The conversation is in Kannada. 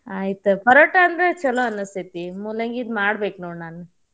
ಆಯ್ತ ತಗೋ ಪರೋಟಾ ಅಂದ್ರು ಛಲೋ ಅನಸ್ತೇತಿ ಮೂಲಂಗಿದ್ ಮಾಡ್ಬೇಕ್ ನೋಡ್ ನಾನ್.